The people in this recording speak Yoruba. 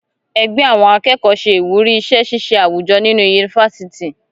Ẹgbẹ àwọn akẹ́kọ̀ọ́ se ìwúrí iṣẹ ṣiṣe awujọ nínú yunifásítì